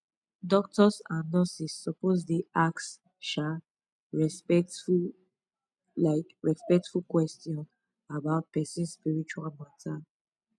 doctors and nurses suppose dey ask um respectful um respectful question about person spiritual matter